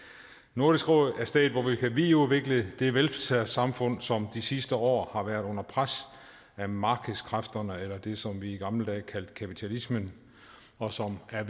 nordisk råd er stedet hvor vi kan videreudvikle det velfærdssamfund som de sidste år har været under pres af markedskræfterne eller det som vi i gamle dage kaldte kapitalismen og som er